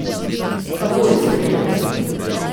Kabul, seveda.